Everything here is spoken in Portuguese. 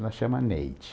Ela chama Neide.